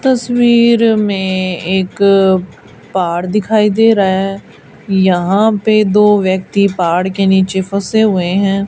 तस्वीर में एक पहाड़ दिखाई दे रहा हैं यहाँ पे दो व्यक्ति पहाड़ के नीचे फंसे हुए हैं।